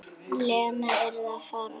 Lena yrði að fara.